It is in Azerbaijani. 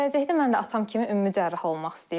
Gələcəkdə mən də atam kimi ümumi cərrah olmaq istəyirəm.